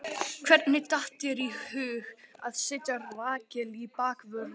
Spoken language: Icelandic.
Hvernig datt þér í hug að setja Rakel í bakvörðinn?